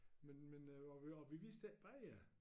Men men øh og vi og vi vidste ikke bedre